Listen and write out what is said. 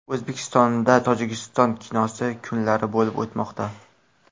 O‘zbekistonda Tojikiston kinosi kunlari bo‘lib o‘tmoqda.